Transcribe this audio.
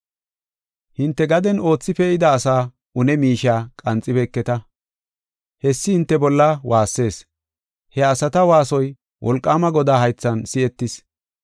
Hinte gaden oothi pee7ida asaa une miishiya qanxibeketa. Hessi hinte bolla waassees. He asata waasoy wolqaama Godaa haythan si7etis.